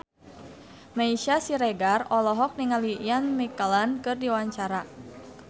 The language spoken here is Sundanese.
Meisya Siregar olohok ningali Ian McKellen keur diwawancara